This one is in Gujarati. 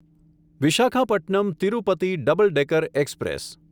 Visakhapatnam Tirupati double decker express